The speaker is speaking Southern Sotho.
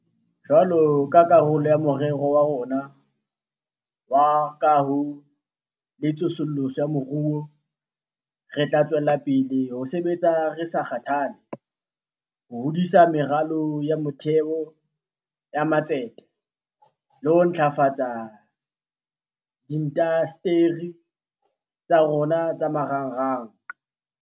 Jwalo ka karolo ya Morero wa rona wa Kaho le Tsosoloso ya Moruo, re tla tswela pele ho sebetsa re sa kgathale ho hodisa meralo ya motheo ya matsete le ho ntlafatsa diindasteri tsa rona tsa marangrang.